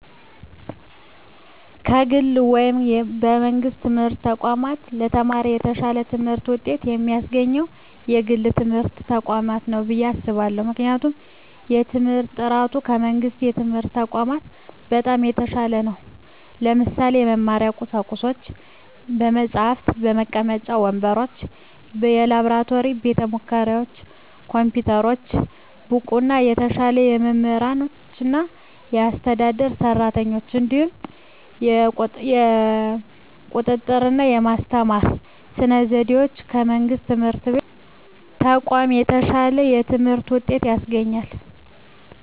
ከግል ወይም ከመንግሥት የትምህርት ተቋማት ለተማሪ የተሻለ ትምህርት ውጤት የሚያስገኘው የግል ትምህርት ተቋማት ነው ብየ አስባለሁ ምክንያቱም የትምህርት በጥራቱ ከመንግስት የትምህርት ተቋማት በጣም የተሻለ ነው ለምሳሌ - በመማሪያ ቁሳቁሶች በመፅሀፍ፣ መቀመጫ ወንበሮች፣ የላብራቶሪ ቤተሙከራዎች፣ ኮምፒውተሮች፣ ብቁና የተሻሉ መምህራኖችና አስተዳደር ሰራተኞች፣ እንዲሁም የቁጥጥ ርና በማስተማር ስነ ዘዴዎች ከመንግስት የትምህርት ተቋማት የተሻለ የትምህርት ውጤት ያስገኛል።